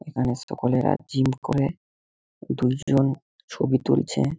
এখানে সকলেরা জিম করে দুজন ছবি তুলছে--